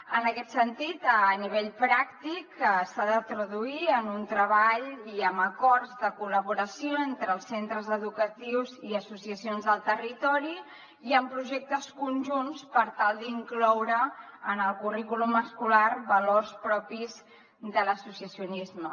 en aquest sentit a nivell pràctic s’ha de traduir en un treball i en acords de col·laboració entre els centres educatius i associacions del territori i en projectes conjunts per tal d’incloure en el currículum escolar valors propis de l’associacionisme